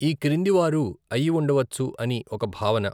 ఈ క్రింది వారు అయి ఉండవచ్చు అని ఒక భావన.